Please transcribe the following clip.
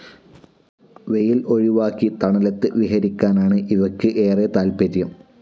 വെയിൽ ഒഴിവാക്കി തണലത്ത് വിഹരിയ്ക്കാനാണ് ഇവയ്ക്ക് ഏറെ താത്പര്യം.